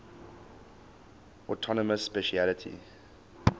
autonomous specialty